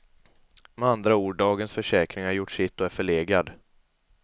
Med andra ord, dagens försäkring har gjort sitt och är förlegad.